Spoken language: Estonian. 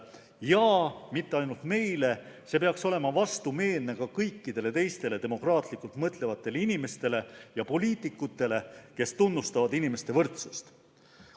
Ja mitte ainult meile, see peaks olema vastumeelne ka kõikidele teistele demokraatlikult mõtlevatele inimestele ja poliitikutele, kes tunnustavad inimeste võrdsust.